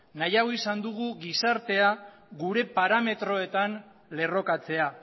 nahiago izan dugu gizartea gure parametroetan lerrokatzea